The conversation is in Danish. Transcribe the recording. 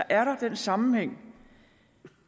er der den sammenhæng